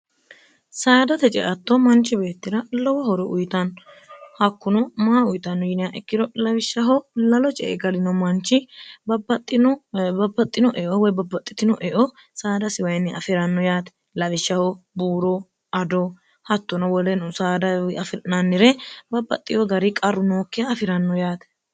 saadate ceatto manchi beettira lowo horo uyitanno hakkuno maa uyitanno yinihaikkiro lawishshaho lalo ce egalino manchi babbaxxinoeo woy babbaxxitino eo saadasiwayinni afi'ranno yaate lawishshaho buuro ado hattono woleno saadawi afirnannire babbaxxiho gari qarru nookke afi'ranno yaate